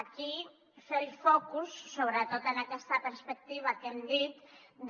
aquí fer el focus sobretot en aquesta perspectiva que hem dit de